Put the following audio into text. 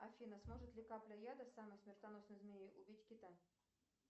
афина сможет ли капля яда самой смертоносной змеи убить кита